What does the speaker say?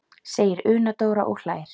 segir Una Dóra og hlær.